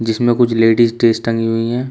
इसमें कुछ ladies dress टंगी हुई है।